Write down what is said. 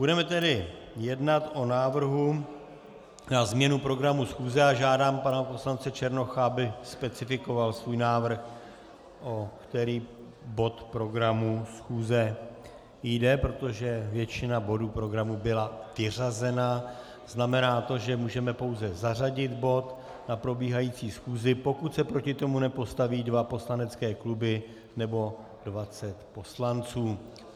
Budeme tedy jednat o návrhu na změnu programu schůze a žádám pana poslance Černocha, aby specifikoval svůj návrh, o který bod programu schůze jde, protože většina bodů programu byla vyřazena, znamená to, že můžeme pouze zařadit bod na probíhající schůzi, pokud se proti tomu nepostaví dva poslanecké kluby nebo 20 poslanců.